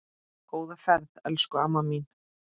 Góða ferð, elsku amma mín.